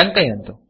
टङ्कयन्तु